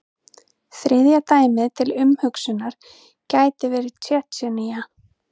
Þriðja dæmið til umhugsunar gæti verið Tsjetsjenía.